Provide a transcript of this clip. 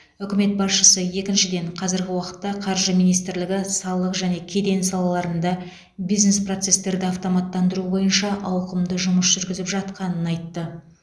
үкімет басшысы екіншіден қазіргі уақытта қаржы министрлігі салық және кеден салаларында бизнес процестерді автоматтандыру бойынша ауқымды жұмыс жүргізіп жатқанын айтты